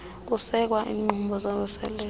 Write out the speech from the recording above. kusekwa iinkqubo zovuselelo